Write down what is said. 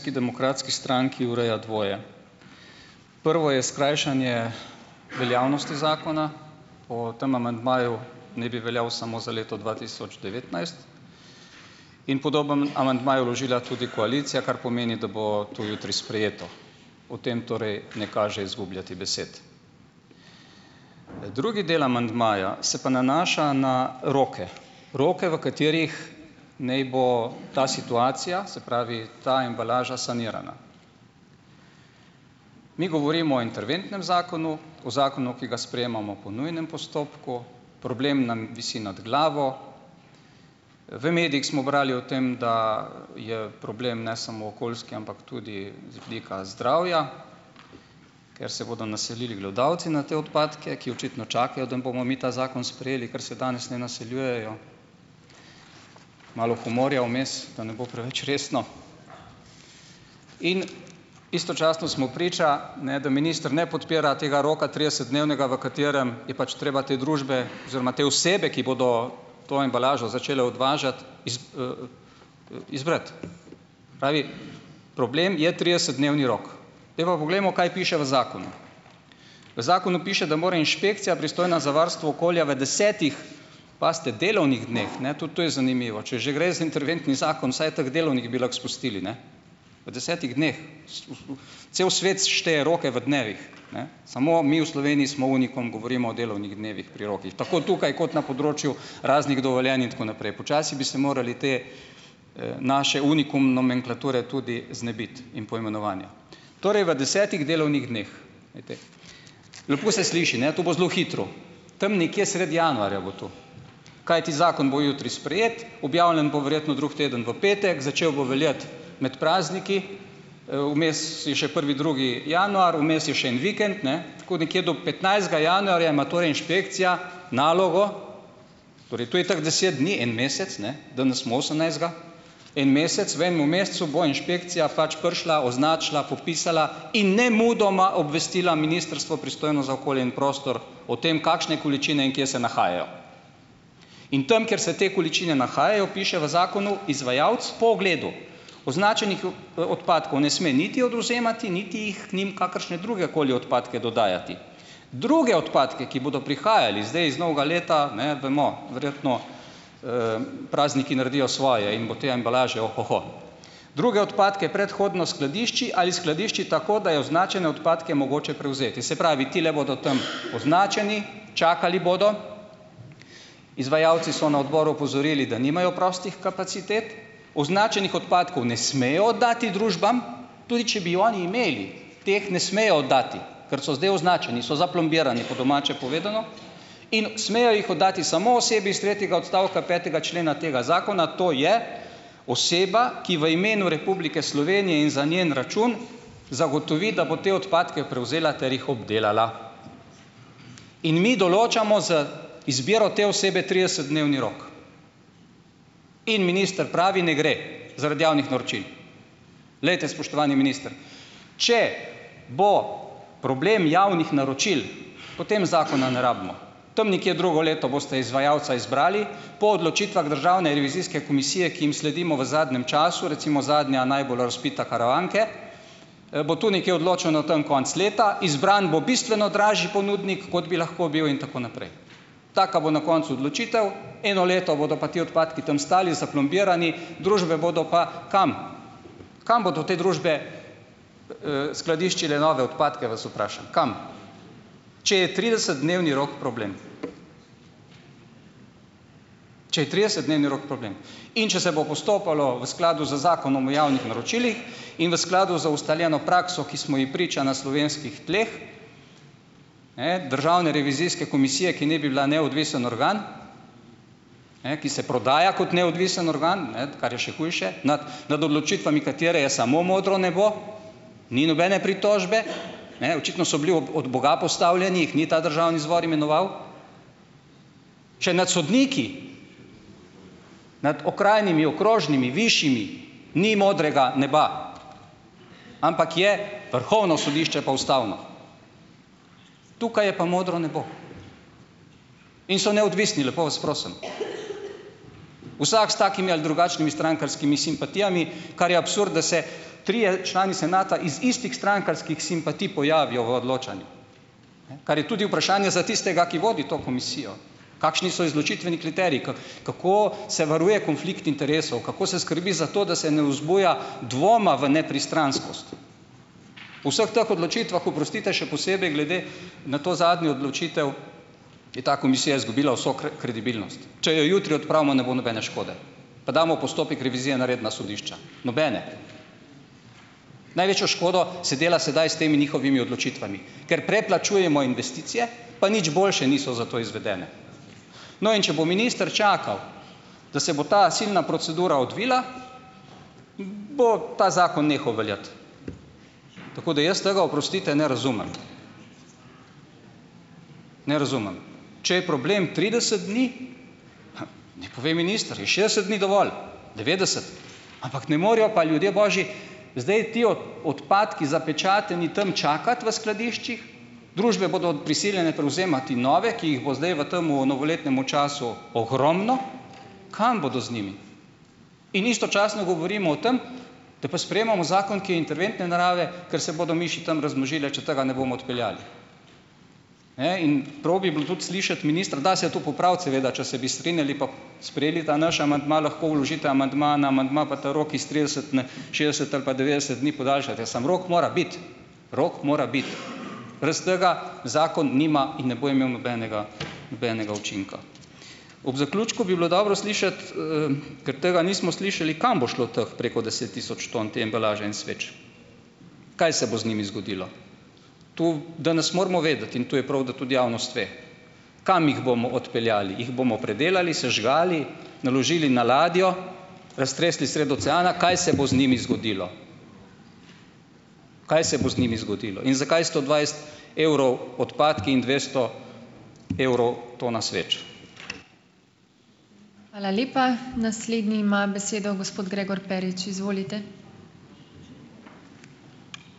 demokratski stranki, ureja dvoje. Prvo je skrajšanje veljavnosti zakona , po tem amandmaju naj bi veljal samo za leto dva tisoč devetnajst. In podoben amandma je vložila tudi koalicija, kar pomeni, da bo to jutri sprejeto. O tem torej ne kaže izgubljati besed. Drugi del amandmaja se pa nanaša na roke, roke, v katerih naj bo ta situacija, se pravi ta embalaža, sanirana. Mi govorimo o interventnem zakonu, o zakonu, ki ga sprejemamo po nujnem postopku, problem nam visi nad glavo. V medijih smo brali o tem, da je problem ne samo okoljski, ampak tudi z vidika zdravja, ker se bodo naselili glodavci na te odpadke, ki očitno čakajo, da bomo mi ta zakon sprejeli, ker se danes ne naseljujejo. Malo humorja vmes, da ne bo preveč resno. In istočasno smo priča, ne, da minister ne podpira tega roka tridesetdnevnega, v katerem je pač treba te družbe oziroma te osebe, ki bodo to embalažo začele odvažati izbrati. Pravi problem je tridesetdnevni rok. Zdaj pa poglejmo, kaj piše v zakonu. V zakonu piše, da mora inšpekcija, pristojna za varstvo okolja, v desetih, pazite, delovnih dneh, ne, tudi to je zanimivo . Če gre za interventni zakon, vsaj teh "delovnih" bi lahko izpustili, ne, v desetih dneh. Cel svet, šteje roke v dnevih, ne, samo mi v Sloveniji smo unikum, govorimo o delovnih dnevih pri rokih, tako tukaj kot na področju raznih dovoljenj in tako naprej. Počasi bi se morali te, naše unikum nomenklature tudi znebiti in poimenovanja torej v desetih delovnih dneh. Lepo se sliši, ne, tu bo zelo hitro , tam nekje sredi januarja bo tu. Kajti zakon bo jutri sprejet, objavljen bo verjetno drug teden v petek, začel bo veljati med prazniki, vmes je še prvi, drugi januar, vmes je še en vikend, ne, tako nekje do petnajstega januarja ima torej inšpekcija nalogo, torej to je tako deset dni, en mesec, ne, danes smo osemnajstega, en mesec, v enem mesecu bo inšpekcija pač prišla, označila, popisala in nemudoma obvestila ministrstvo, pristojno za okolje in prostor o tem, kakšne količine in kje se nahajajo. In tam, kjer se te količine nahajajo, piše v zakonu izvajalec po ogledu. Označenih odpadkov ne sme niti odvzemati niti jih k njim kakršne druge koli odpadke dodajati. Druge odpadke, ki bodo prihajali zdaj iz novega leta, ne vemo, verjetno, prazniki naredijo svoje in bo te embalaže ohoho. Druge odpadke predhodno skladišči ali skladišči tako, da je označene odpadke mogoče prevzeti. Se pravi, tile bodo tam označeni , čakali bodo, izvajalci so na odboru opozorili, da nimajo prostih kapacitet. Označenih odpadkov ne smejo oddati družbam, tudi če bi oni imeli, teh ne smejo oddati, ker so zdaj označeni, so zaplombirani po domače povedano, in smejo jih oddati samo osebi iz tretjega odstavka petega člena tega zakona, to je oseba, ki v imenu Republike Slovenije in za njen račun zagotovi, da bo te odpadke prevzela ter jih obdelala. In mi določamo z izbiro te osebe tridesetdnevni rok. In minister pravi: "Ne gre, zaradi javnih naročil." Glejte, spoštovani minister, če bo problem javnih naročil, potem zakona ne rabimo. Tam nekje drugo leto boste izvajalca izbrali, po odločitvah državne revizijske komisije, ki jim sledimo v zadnjem času, recimo zadnja najbolj razvpita, Karavanke, bo tu nekje odločeno tam konec leta, izbran bo bistveno dražji ponudnik, kot bi lahko bil, in tako naprej. Taka bo na koncu odločitev, eno leto bodo pa ti odpadki tam stali, zaplombirali družbe, bodo pa kam ... Kam bodo te družbe, skladiščile nove odpadke, vas vprašam, kam, če je tridesetdnevni rok problem? če je tridesetdnevni rok problem? In če se bo postopalo v skladu z Zakonom o javnih naročilih in v skladu z ustaljeno prakso, ki smo ji priča na slovenskih tleh? Ne, državne revizijske komisije, ki naj bi bila neodvisen organ, ne, ki se prodaja kot neodvisen organ, ne, kar je še hujše nad nad odločitvami katere je samo modro nebo, ni nobene pritožbe. Ne, očitno so bili ob od boga postavljeni, jih ni ta državni zbor imenoval. Če nad sodniki nad okrajnimi, okrožnimi, višjimi ni modrega neba, ampak je vrhovno sodišče pa ustavno tukaj je pa modro nebo in so neodvisni, lepo vas prosim. Vsak s takimi ali drugačnimi strankarskimi simpatijami, kar je absurd, da se trije člani senata iz istih strankarskih simpatij pojavijo v odločanje, kar je tudi vprašanje za tistega, ki vodi to komisijo. Kakšni so izločitveni kriteriji kako se varuje konflikt interesov, kako se skrbi za to, da se ne vzbuja dvoma v nepristranskost? V vseh teh odločitvah, oprostite, še posebej glede na to zadnjo odločitev, je ta komisija izgubila vso kredibilnost. Če jo jutri odpravimo, ne bo nobene škode, pa damo v postopek revizije na redna sodišča, nobene. Največjo škodo se dela sedaj s temi njihovimi odločitvami, ker preplačujemo investicije, pa nič boljše niso zato izvedene. No, in če bo minister čakal, da se bo ta silna procedura odvila, bo ta zakon nehal veljati. tako da jaz tega, oprostite, ne razumem. Ne razumem. Če je problem trideset dni naj pove minister, je šest dni dovolj, devetdeset, ampak ne morejo pa, ljudje božji, zdaj ti odpadki zapečateni tam čakati v skladiščih, družbe bodo prisiljene prevzemati nove, ki jih bo zdaj v tem novoletnem času ogromno, kam bodo z njimi? In istočasno govorimo o tem, da pa sprejemamo zakon, ki je interventne narave, ker se bodo miši tam razmnožile, če tega ne bomo odpeljali. Ne, in prav bi bilo tudi slišati ministra, da se to popraviti seveda, če bi se strinjali pa sprejeli ta naš amandma, lahko vložite amandma na amandma pa ta rok iz trideset n šestdeset ali pa devetdeset dni podaljšate, samo rok mora biti. Rok mora Brez tega zakon nima in ne bo imel nobenega, nobenega učinka. Ob zaključku bi bilo dobro slišati, ker tega nismo slišali, kam bo šlo teh preko deset tisoč tam te embalaže in sveč? Kaj se bo z njimi zgodilo? Tu danes moramo vedeti, in tu je prav, da tudi javnost ve, kam jim bomo odpeljali. Jih bomo predelali, sežgali, naložili na ladjo, raztresli sredi oceana? Kaj se bo z njimi zgodilo? Kaj se bo z njimi zgodilo? In zakaj sto dvajset evrov odpadki in dvesto evrov tona sveč?